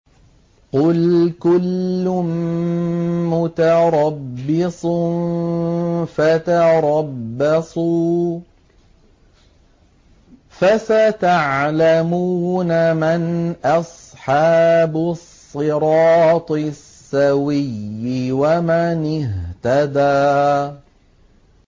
قُلْ كُلٌّ مُّتَرَبِّصٌ فَتَرَبَّصُوا ۖ فَسَتَعْلَمُونَ مَنْ أَصْحَابُ الصِّرَاطِ السَّوِيِّ وَمَنِ اهْتَدَىٰ